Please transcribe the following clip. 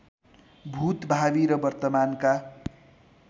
भूत भावी र वर्तमानका